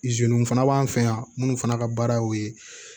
fana b'an fɛ yan minnu fana ka baara y'o ye